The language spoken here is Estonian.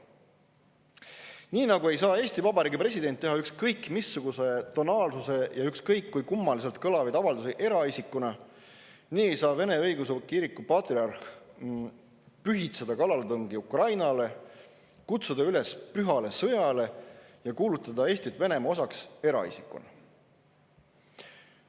Nii nagu ei saa Eesti Vabariigi president teha ükskõik missuguse tonaalsusega ja ükskõik kui kummaliselt kõlavaid avaldusi eraisikuna, ei saa Vene Õigeusu Kiriku patriarh pühitseda kallaletungi Ukrainale, kutsuda üles pühale sõjale ja kuulutada Eesti Venemaa osaks eraisikuna.